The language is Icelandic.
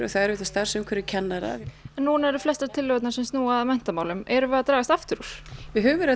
það er auðvitað starfsumhverfi kennara nú eru flestar tillögurnar sem snúa að menntamálum erum við að dragast aftur úr við höfum verið